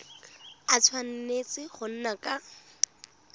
a tshwanetse go nna ka